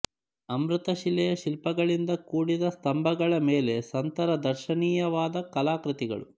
ಅಮೃತ ಶಿಲೆಯ ಶಿಲ್ಪಗಳಿಂದ ಕೂಡಿದ ಸ್ಥಂಭಗಳ ಮೇಲೆ ಸಂತರ ದರ್ಶನೀಯವಾದ ಕಲಾಕೃತಿಗಳು